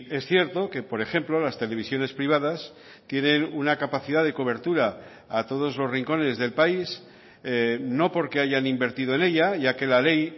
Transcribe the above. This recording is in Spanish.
es cierto que por ejemplo las televisiones privadas tienen una capacidad de cobertura a todos los rincones del país no porque hayan invertido en ella ya que la ley